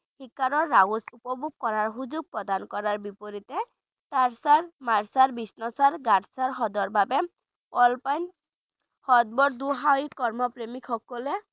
Shikar ride উপভোগ কৰাৰ সুযোগ প্ৰদান কৰাৰ বিপৰীতে সাতসৰ, মানসৰ, বিষ্ণুসৰ, গাডসৰ হ্ৰদৰ বাবে অল্পাইন সৰ্ব দুঃসাহসী প্ৰেমিকসকলে